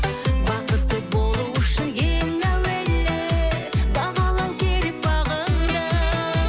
бақытты болу үшін ең әуелі бағалау керек бағыңды